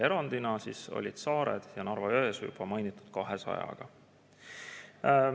Erandid olid saared ja Narva-Jõesuu juba mainitud 200 meetriga.